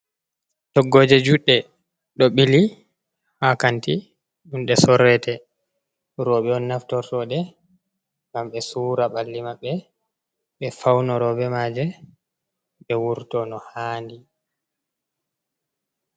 Toggooje juɗɗe ɗo ɓili haa kanti, ɗum ɗe sorrete, rowɓe on naftortoɗe, ngam ɓe suura ɓalli maɓɓe, ɓe fawnoro be maaje, ɓe wurto no haandi.